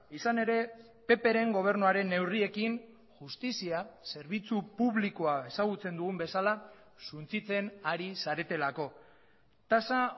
izan ere ppren gobernuaren neurriekin justizia zerbitzu publikoa ezagutzen dugun bezala suntsitzen ari zaretelako tasa